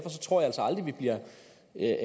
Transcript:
en af